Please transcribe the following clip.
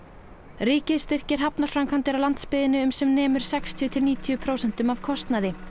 ríkið styrkir hafnarframkvæmdir á landsbyggðinni um sem nemur sextíu til níutíu prósentum af kostnaði